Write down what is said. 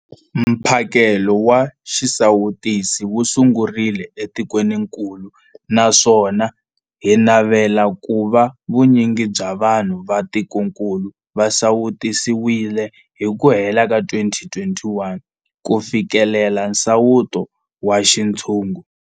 Mphakelo wa xisawutisi wu sungurile etikwenikulu naswona hi navela ku va vu nyingi bya vanhu va tikokulu va sawutisiwile hi ku hela ka 2021 ku fikelela nsawuto wa xintshungu.